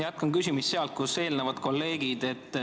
Jätkan küsimist sealt, kus kolleegid eelnevalt lõpetasid.